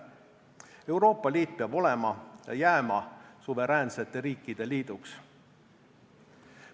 Euroopa Liit peab olema ja jääma suveräänsete riikide liiduks.